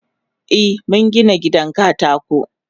Eh mungina gidan katako.